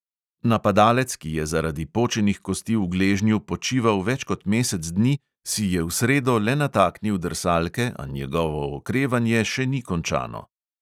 Napadalec, ki je zaradi počenih kosti v gležnju počival več kot mesec dni, si je v sredo le nataknil drsalke, a njegovo okrevanje še ni končano.